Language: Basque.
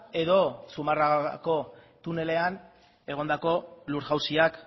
edo zumarragako tunelean egondako lur jauziak